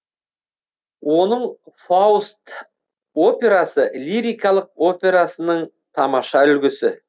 оның фауст операсы лирикалық операсының тамаша үлгісі